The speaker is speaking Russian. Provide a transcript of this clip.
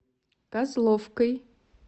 козловкой